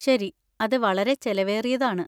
ശരി. അത് വളരെ ചെലവേറിയതാണ്.